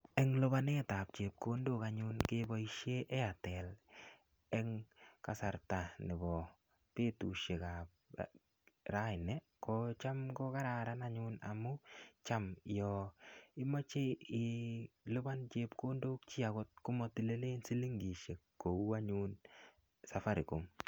En lipanetab chepkondok anyun keboishen Airtel en kasarta nebo betushekab raini kocham ko kararan Cham yon imoche ilipan chepkondok chii komotilenij silingishek kou anyun safaricom.